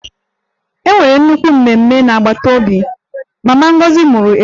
E nwere nnukwu mmemme n'agbata obi, mama Ngozi mụrụ ejima